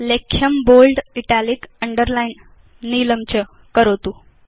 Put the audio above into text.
लेख्यं bold italic underlined नीलं च करोतु